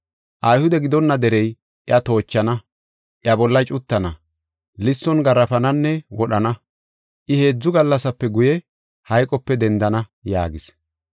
Ayhude gidonna derey iya toochana, iya bolla cuttana, lisson garaafananne wodhana. I heedzu gallasape guye, hayqope dendana” yaagis.